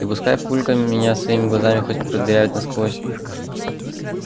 и пускай папулька меня своими глазами хоть продырявит насквозь